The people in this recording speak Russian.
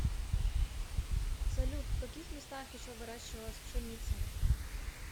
салют в каких местах еще выращивалась пшеница